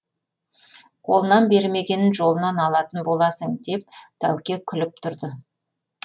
қолынан бермегенін жолынан алатын боласың деп тәуке күліп тұрды